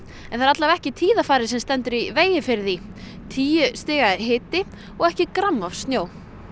en það er allavega ekki tíðarfarið sem stendur í vegi fyrir því tíu stiga hiti og ekki gramm af snjó